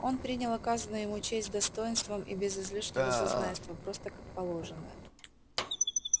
он принял оказанную ему честь с достоинством и без излишнего зазнайства просто как положенное